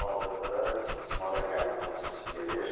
Hazırda istismara qəbul prosesi gedir.